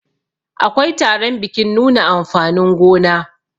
akwai taron bikin nuna amfanin gona